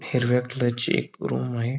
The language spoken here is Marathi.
हिरव्या कलर ची एक रूम आहे.